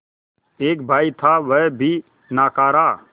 एक भाई था वह भी नाकारा